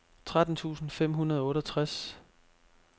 tretten tusind fem hundrede og otteogtres